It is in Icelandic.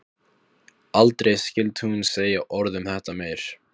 Aldrei skyldi hún segja orð um þetta meir.